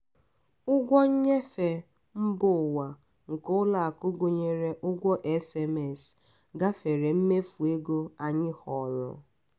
ụgwọ nnyefe mba ụwa nke ụlọakụ gụnyere ụgwọ sms gafere mmefu ego anyị họọrọ.